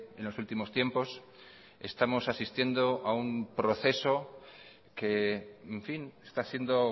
en los últimos tiempos estamos asistiendo a un proceso que en fin está siendo